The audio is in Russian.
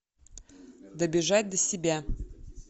добежать до себя